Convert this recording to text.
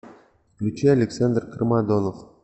включи александр кармадонов